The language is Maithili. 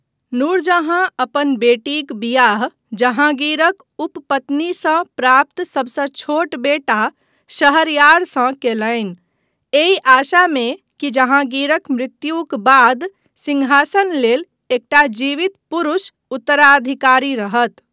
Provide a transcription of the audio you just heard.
नूरजहाँ अपन बेटीक बियाह जहाँगीरक उपपत्नीसँ प्राप्त सभसँ छोट बेटा शहरयारसँ कयलनि, एहि आशामे कि जहाँगीरक मृत्युक बाद सिंहासन लेल एकटा जीवित पुरुष उत्तराधिकारी रहत।